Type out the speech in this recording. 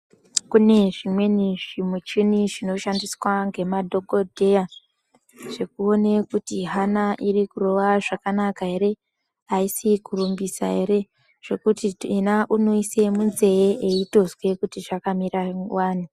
Kune zvimweni zvimuchini zvinoshandiswa ngemadhokodheya zvekuone kuti hana iri kurova zvakanaka ere aisi kurumbisa ere zvekuti uti yena unoise munzeye eitozwr kuti zvakamira wani.